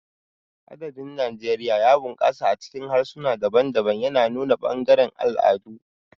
Adabin Najeriya ya bunƙasa a cikin harsuna daban-daban, yana nuna ɓangarorin al'adu.